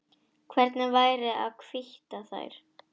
Hvernig væri að hvítta þær?